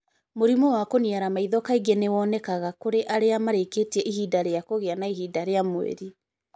Mũrimũ wa kũniara maitho kaingĩ nĩ wonekaga kũrĩ arĩa marĩĩkĩtie ihinda rĩa kũgĩa na ihinda rĩa mweri.